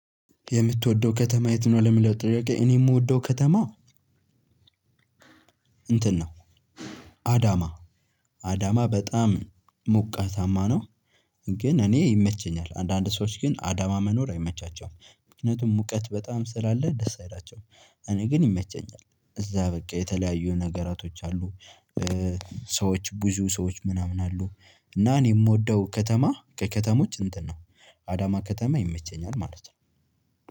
የምትወደው ከተማ የት ነው? ለሚለው ጥያቄ እኔ የምወደው ከተማ እንትን ነው። አዳማ አዳማ በጣም ሞቃታማ ነው። ግን እኔ ይመቸኛል አንዳንድ ሰዎች ግን አዳማ መኖር አይመቻቸውም ምክንያቱም ሙቀት በጣም ስለ አለ ደስ አይላቸውም። እኔ ግን ይመቸኛል። እዛ በቃ የተለያዩ ነገራቶች አሉ እ ሰዎች ብዙ ሰዎች ምናምን አሉ። እና እኔ የምወደው ከተማ ከከተሞች እንትን ነው አዳማ ከተማ ይመቸኛል ማለት ነው።